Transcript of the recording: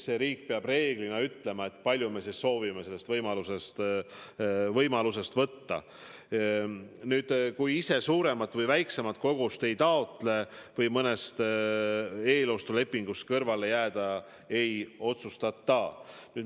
Iga riik peab reeglina ütlema, kui palju ta soovib seda võimalust kasutada, kui suurt või väikest kogust taotleb ja ega ta ei otsusta mõnest eelostulepingust kõrvale jääda.